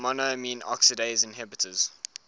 monoamine oxidase inhibitors